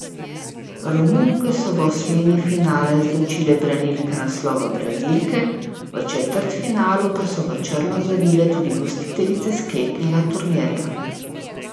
Romunke so v osmini finala izločile branilke naslova Brazilke, v četrtfinalu pa so v črno zavile tudi gostiteljice sklepnega turnirja.